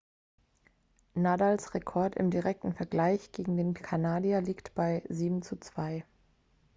nadals rekord im direkten vergleich gegen den kanadier liegt bei 7:2